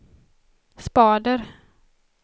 spader